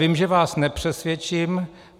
Vím, že vás nepřesvědčím.